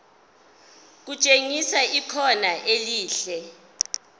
kutshengisa ikhono elihle